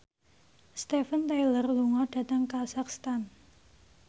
Steven Tyler lunga dhateng kazakhstan